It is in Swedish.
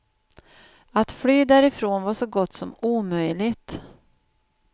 Att fly därifrån var så gott som omöjligt.